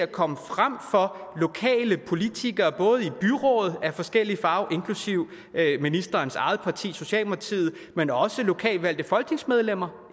komme frem for lokale politikere både i byrådet af forskellige farver inklusive ministerens eget parti socialdemokratiet men også lokalt valgte folketingsmedlemmer